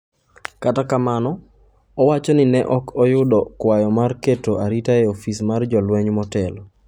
Kata kamano, owacho ni ne ok oyudo kwayo mar keto arita e ofis mar jolweny motelo.